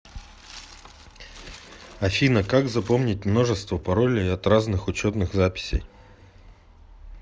афина как запомнить множество паролей от разных учетных записей